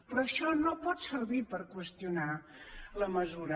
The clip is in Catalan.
però això no pot servir per qüestionar la mesura